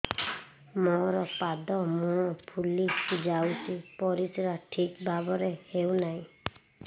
ମୋର ପାଦ ମୁହଁ ଫୁଲି ଯାଉଛି ପରିସ୍ରା ଠିକ୍ ଭାବରେ ହେଉନାହିଁ